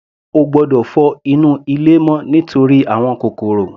Ó gbọ́dọ̀ fọ inú ilé mọ́ nítorí àwọn kòkòrò.